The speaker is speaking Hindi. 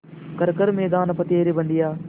कर हर मैदान फ़तेह रे बंदेया